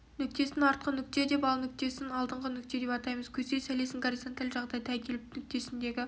нүктесін артқы нүкте деп ал нүктесін алдынғы нүкте деп атаймыз көздеу сәулесін горизонталь жағдайға әкеліп нүктесіндегі